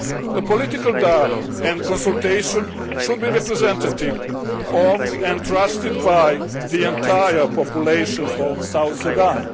A political dialogue and consultation should be representative of, and trusted by, the entire population of South Sudan.